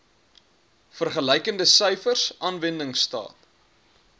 vergelykende syfers aanwendingstaat